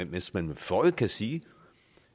hvis man med føje kan sige